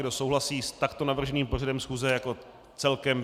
Kdo souhlasí s takto navrženým pořadem schůze jako celkem?